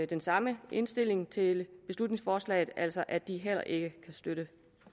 den samme indstilling til beslutningsforslaget altså at de heller ikke kan støtte